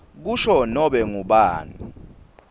kusho nobe ngubani